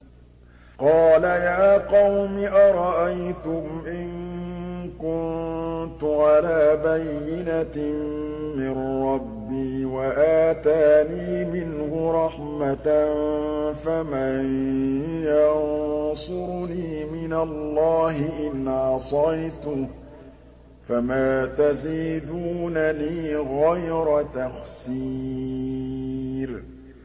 قَالَ يَا قَوْمِ أَرَأَيْتُمْ إِن كُنتُ عَلَىٰ بَيِّنَةٍ مِّن رَّبِّي وَآتَانِي مِنْهُ رَحْمَةً فَمَن يَنصُرُنِي مِنَ اللَّهِ إِنْ عَصَيْتُهُ ۖ فَمَا تَزِيدُونَنِي غَيْرَ تَخْسِيرٍ